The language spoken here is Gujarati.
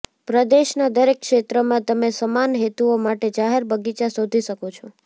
પ્રદેશના દરેક ક્ષેત્રમાં તમે સમાન હેતુઓ માટે જાહેર બગીચા શોધી શકો છો